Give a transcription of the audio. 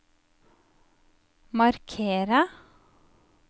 markere